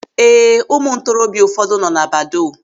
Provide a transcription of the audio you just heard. Ee, ụmụ ntorobịa ụfọdụ nọ na badoo.